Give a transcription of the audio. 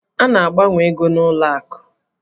A na-agbanwe ego n'ụlọ akụ.